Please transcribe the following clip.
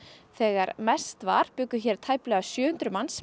þegar mest var bjuggu tæplega sjö hundruð manns